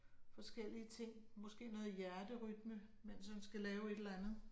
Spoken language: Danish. Forskellige ting. Måske noget hjerterytme, mens han skal lave et eller andet